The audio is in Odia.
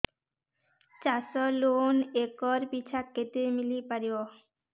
ଚାଷ ଲୋନ୍ ଏକର୍ ପିଛା କେତେ ମିଳି ପାରିବ